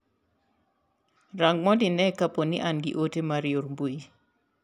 Rang' mondo ine ka poni an gi ote mar yor mbui?